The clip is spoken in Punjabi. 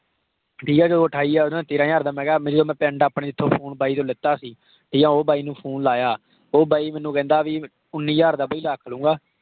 ਠੀਕ ਆ। ਜਦੋਂ ਅਠਾਈ ਹਜ਼ਾਰ ਦਾ ਤੇਹਰਾਂ ਹਜ਼ਾਰ ਦਾ ਮੈਂ ਕਿਹਾ। ਮੇਰੇ ਉਹ ਪਿੰਡ ਜਿਥੋਂ phone ਮੈਂ ਲਿੱਤਾ ਸੀ ਅਸੀਂ ਉਹ ਬਾਈ ਨੂੰ PHONE ਲਾਇਆ। ਉਹ ਬਾਈ ਮੈਨੂੰ ਕਹਿੰਦਾ ਭੀ ਉੱਨੀ ਹਜ਼ਾਰ ਦਾ ਬਾਈ ਰੱਖ ਲਊਂਗਾ।